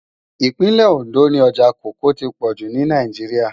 Ipinlè-Óndó ni òjá kòókòó ti pòjú ni Náijiriá